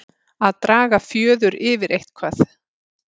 Að draga fjöður yfir eitthvað